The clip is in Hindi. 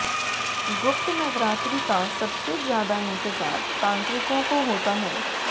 गुप्त नवरात्रि का सबसे ज्यादा इंतजार तांत्रिकों को होता है